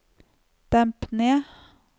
demp ned